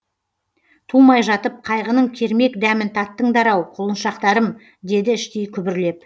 тумай жатып қайғының кермек дәмін таттыңдар ау құлыншақтарым деді іштей күбірлеп